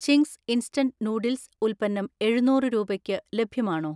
Ching's instant noodles ഉൽപ്പന്നം എഴുന്നൂറ് രൂപയ്ക്ക് ലഭ്യമാണോ?